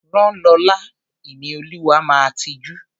Rán Lọla! Ìníolúwa máa tijú.